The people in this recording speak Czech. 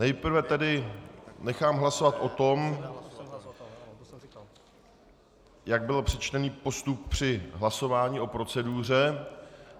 Nejprve tedy nechám hlasovat o tom, jak byl přečtený postup při hlasování o proceduře.